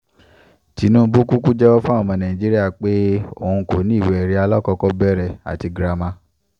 tinubu kúkú jẹ́wọ́ fáwọn ọmọ nàìjíríà pé o kò ní ìwé-ẹ̀rí alákọ̀kọ́bẹ̀rẹ̀ àti girama